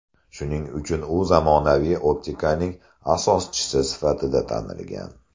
Shuning uchun u zamonaviy optikaning asoschisi sifatida tanilgan.